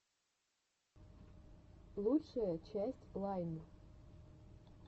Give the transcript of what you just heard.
лучшая часть лайн